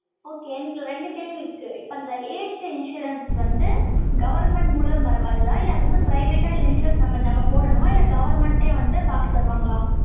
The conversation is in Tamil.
Okay எனக்கு ரெண்டு கேள்வி இருக்கு. இப்ப இந்த aged insurance வந்து, government மூலமா பரவாதா? இல்லை, அது வந்து private ஆ? இல்லை insurance நம்ம போடணுமா? இல்லை, government ஏ வந்து, காசு தருவாங்களா